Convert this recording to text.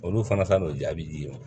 Olu fana ta n'o jaabi d'i ma